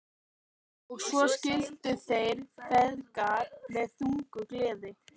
Og svo skildu þeir feðgar með þungu geði.